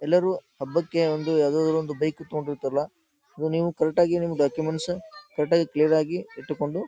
ಎಲ್ಲರೂ ಹಬ್ಬಕ್ಕೆ ಒಂದ್ ಯಾವಾದರೂ ಒಂದು ಬೈಕ್ ಹತ್ಕೊಂಡ್ ಹೊಯ್ತಾರಲ್ಲ ನೀವು ಕರೆಕ್ಟ್ ಆಗಿ ನಿಮ್ ಡಾಕ್ಯುಮೆಂಟ್ಸ್ ಕರೆಕ್ಟ್ ಆಗಿ ಕ್ಲಿಯರ್ ಆಗಿ ಇಟ್ಟುಕೊಂಡು--